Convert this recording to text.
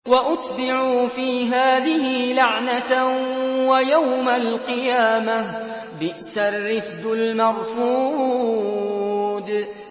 وَأُتْبِعُوا فِي هَٰذِهِ لَعْنَةً وَيَوْمَ الْقِيَامَةِ ۚ بِئْسَ الرِّفْدُ الْمَرْفُودُ